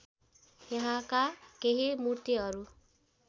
यहाँका केही मूर्तिहरू